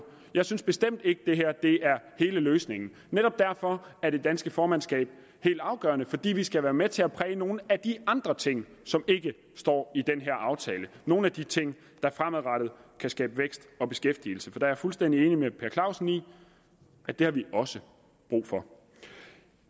jeg synes bestemt ikke at det her er hele løsningen netop derfor er det danske formandskab helt afgørende fordi vi skal være med til at præge nogle af de andre ting som ikke står i den her aftale nogle af de ting der fremadrettet kan skabe vækst og beskæftigelse jeg er fuldstændig enig med herre per clausen i at det har vi også brug for